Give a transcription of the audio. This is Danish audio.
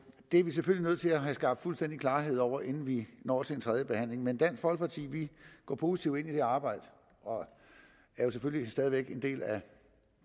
er vi selvfølgelig nødt til at have skabt fuldstændig klarhed over inden vi når til tredjebehandlingen men dansk folkeparti går positivt ind i arbejdet og er jo selvfølgelig stadig væk en del af